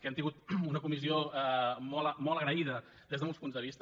hem tingut una comissió molt agraïda des de molts punts de vista